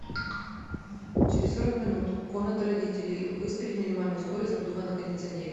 через сорок минут комната родителей выставить минимальную скорость обдува на кондиционере